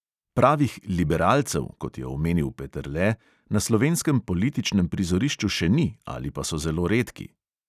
Pravih liberalcev, kot je omenil peterle, na slovenskem političnem prizorišču še ni ali pa so zelo redki.